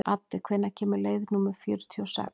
Addi, hvenær kemur leið númer fjörutíu og sex?